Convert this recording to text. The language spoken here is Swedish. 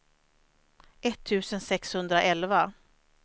etttusen sexhundraelva